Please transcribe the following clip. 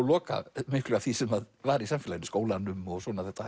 loka miklu af því sem var í samfélaginu skólanum og